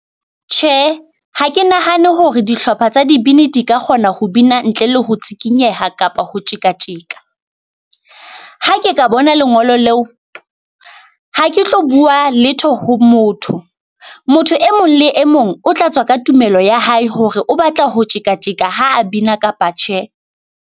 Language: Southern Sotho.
Tjhe, ha ke nahane hore dihlopha tsa dibini di ka kgona ho bina ntle le ho tshikinyeha kapa ho tjeka tjeka. Ha ke ka bona lengolo leo, ha ke tlo bua letho ho motho. Motho e mong le e mong o tla tswa ka tumelo ya hae hore o batla ho tjeka tjeka ha a bina kapa tjhe.